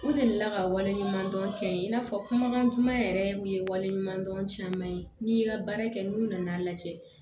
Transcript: U delila ka wale ɲuman dɔn kɛ i n'a fɔ kumakan duman yɛrɛ min ye waleɲuman dɔn caman ye n'i y'i ka baara kɛ n'u nan'a lajɛ